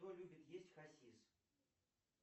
что любит есть хасис